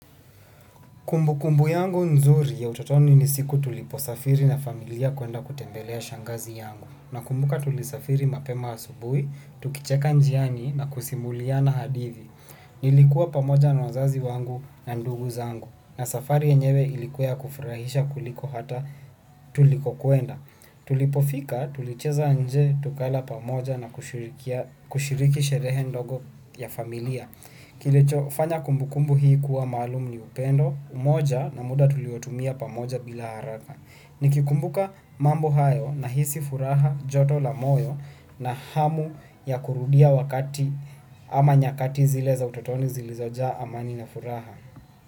Kumbukumbu yangu nzuri ya utotoni ni siku tuliposafiri na familia kwenda kutembelea shangazi yangu. Nakumbuka tulisafiri mapema asubuhi, tukicheka njiani na kusimulia na hadithi. Nilikuwa pamoja na wazazi wangu na ndugu zangu. Na safari yenyewe ilikuwa ya kufurahisha kuliko hata tuliko kwenda. Tulipofika tulicheza nje, tukala pamoja na kushiriki sherehe ndogo ya familia. Kilicho fanya kumbukumbu hii kuwa maalum ni upendo, umoja na muda tuliyotumia pamoja bila haraka. Nikikumbuka mambo hayo nahisi furaha, joto la moyo na hamu kurudia wakati ama nyakati zile za utotoni zilizojaa amani na furaha.